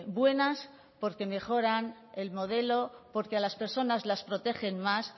buenas porque mejoran el modelo porque a las personas las protegen más